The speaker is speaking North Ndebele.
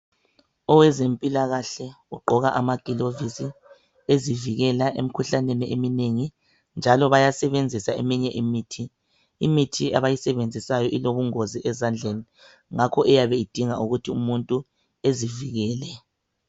Owezempilakahle ugqoka amagilovisi ezivikela emikhuhlaneni eminengi njalo bayasebenzisa eminye imithi. Imithi abayasebenzisayo ilobungozi ezandleni ngakho iyabe idinga ukuthi umuntu azivikele.